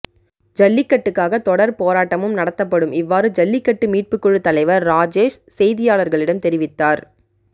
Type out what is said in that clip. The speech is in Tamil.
ஜல்லிக்கட்டுக்காக தொடர் போராட்டமும் நடத்தப்படும் இவ்வாறு ஜல்லிக்கட்டு மீட்புக்குழு தலைவர் ராஜேஷ் செய்தியாளர்களிடம் தெரிவித்தார்